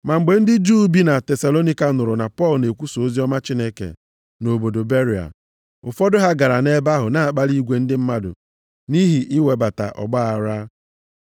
Ma mgbe ndị Juu bi na Tesalonaịka nụrụ na Pọl na-ekwusa oziọma Chineke na obodo Beria, ụfọdụ ha gara nʼebe ahụ na-akpali igwe ndị mmadụ nʼihi iwebata ọgbaaghara.